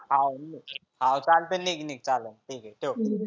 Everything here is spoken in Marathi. हा चालतं निघ निघ चालन निघ ठीक आहे ठेव.